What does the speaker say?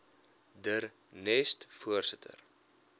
der nest voorsitter